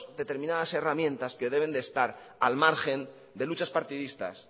determinadas herramientas que deben de estar al margen de luchas partidistas